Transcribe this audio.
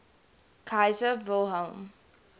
kaiser wilhelm